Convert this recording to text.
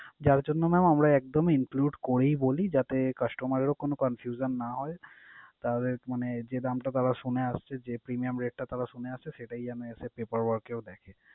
যার জন্য mam আমরা একদম include করেই বলি যাতে customer রাও কোন confusion না হয়। তার এক মানে যে দামটা তাঁরা শুনে আসছে, যে premium rate টা তাঁরা শুনে আসছে সেটাই যেন এসে paper work এও দেখে।